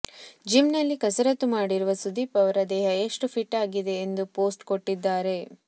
gym ನಲ್ಲಿ ಕಸರತ್ತು ಮಾಡಿರುವ ಸುದೀಪ್ ಅವರ ದೇಹ ಎಷ್ಟು ಫಿಟ್ ಆಗಿದೆ ಎಂದು ಫೋಸ್ಟ ಕೊಟ್ಟಿದ್ದಾರೆ